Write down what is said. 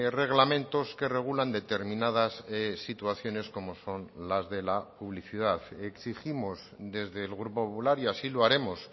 reglamentos que regulan determinadas situaciones como son las de la publicidad exigimos desde el grupo popular y así lo haremos